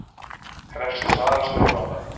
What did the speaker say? Krefst svara stjórnvalda